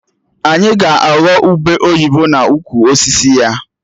Anyị ga-aghọ ube oyibo n'ukwu osisi ya